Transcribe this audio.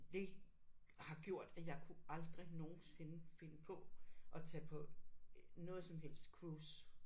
Det har gjort at jeg kunne aldrig nogensinde finde på at tage på noget som helst cruise